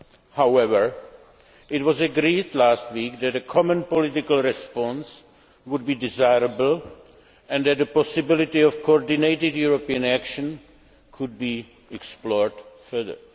However, it was agreed last week that a common political response would be desirable and that the possibility of coordinated European action could be explored further.